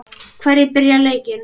Hverjir byrja leikinn?